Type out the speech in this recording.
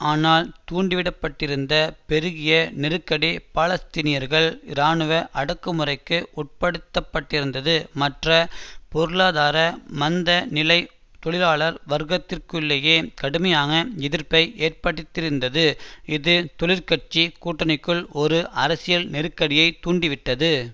ஆனால் தூண்டிவிடப்பட்டிருந்த பெருகிய நெருக்கடி பாலஸ்தீனியர்கள் இராணுவ அடக்குமுறைக்கு உட்படுத்தப்பட்டிருந்தது மற்ற பொருளாதார மந்த நிலை தொழிலாளர் வர்க்கத்திற்குள்ளேயே கடுமையான எதிர்ப்பை ஏற்படுத்தியிருந்தது இது தொழிற்கட்சி கூட்டணிக்குள் ஒரு அரசியல் நெருக்கடியை தூண்டிவிட்டது